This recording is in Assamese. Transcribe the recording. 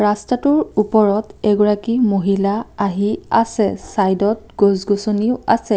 ৰাস্তাটোৰ ওপৰত এগৰাকী মহিলা আহি আছে চাইদত গছ গছনিও আছে।